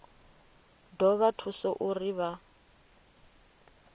ḓo vha thusa uri vha